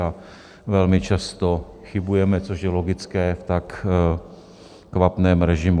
A velmi často chybujeme, což je logické v tak kvapném režimu.